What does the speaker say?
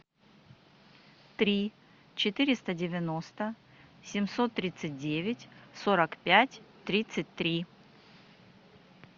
три четыреста девяносто семьсот тридцать девять сорок пять тридцать три